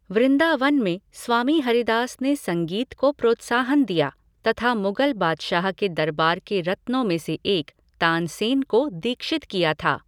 वृंदावन में स्वामी हरिदास ने संगीत को प्रोत्साहन दिया तथा मुगल बादशाह के दरबार के रत्नों में से एक, तानसेन को दीक्षित किया था।